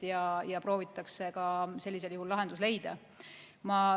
Sellisel juhul proovitakse lahendus leida.